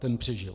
Ten přežil.